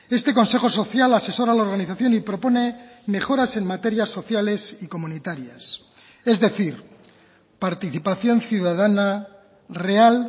este consejo social asesora a la organización y propone mejoras en materias sociales y comunitarias es decir participación ciudadana real